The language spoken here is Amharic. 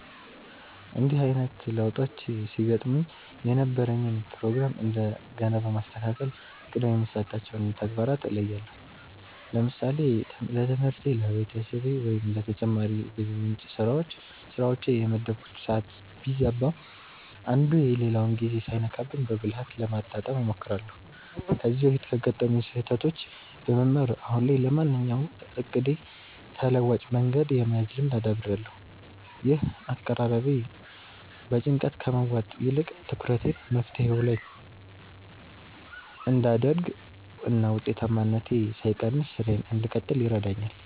እንዲህ አይነት ለውጦች ሲገጥሙኝ የነበረኝን ፕሮግራም እንደገና በማስተካከል ቅድሚያ የሚሰጣቸውን ተግባራት እለያለሁ። ለምሳሌ ለትምህርቴ፣ ለቤተሰቤ ወይም ለተጨማሪ የገቢ ምንጭ ስራዎቼ የመደብኩት ሰዓት ቢዛባ፣ አንዱ የሌላውን ጊዜ ሳይነካብኝ በብልሃት ለማጣጣም እሞክራለሁ። ከዚህ በፊት ካጋጠሙኝ ስህተቶች በመማር፣ አሁን ላይ ለማንኛውም እቅዴ ተለዋጭ መንገድ የመያዝ ልምድ አዳብሬያለሁ። ይህ አቀራረቤ በጭንቀት ከመዋጥ ይልቅ ትኩረቴን መፍትሄው ላይ እንድ አደርግ እና ውጤታማነቴ ሳይቀንስ ስራዬን እንድቀጥል ይረዳኛል።